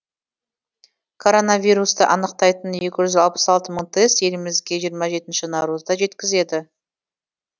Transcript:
коронавирусты анықтайтын екі жүз алпыс алты мың тест елімізге жиырма жетінші наурызда жеткізеді